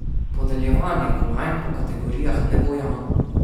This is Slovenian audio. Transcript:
Podeljevanje kolajn po kategorijah ne bo javno.